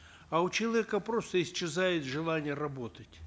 а у человека просто исчезает желание работать